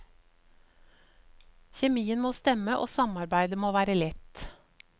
Kjemien må stemme og samarbeidet må være lett.